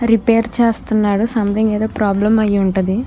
Repair చేస్తున్నాడు something ఏదో problem అయ్యిఉంటది.